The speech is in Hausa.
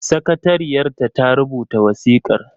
Sakatariyar ta ta rubuta wasikar.